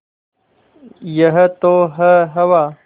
यह तो है हवा